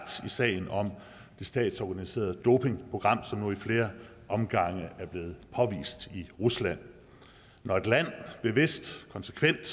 i sagen om det statsorganiserede dopingprogram som nu i flere omgange er blevet påvist i rusland når et land bevidst konsekvent